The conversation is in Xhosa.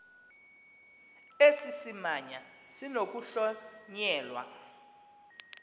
esi simamva sinokuhlonyelwa